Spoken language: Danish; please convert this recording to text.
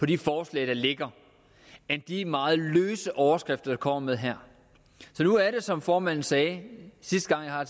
de forslag der ligger end de meget løse overskrifter man kommer med her så nu er det som formanden sagde sidste gang jeg har